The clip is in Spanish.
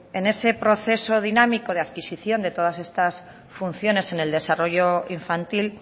en ese proceso dinámico de adquisición de todas estas funciones en el desarrollo infantil